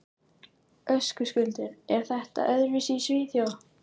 Höskuldur: Er þetta öðruvísi í Svíþjóð?